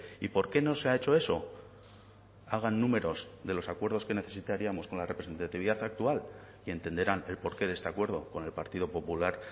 y por qué no se ha hecho eso hagan números de los acuerdos que necesitaríamos con la representatividad actual y entenderán el porqué de este acuerdo con el partido popular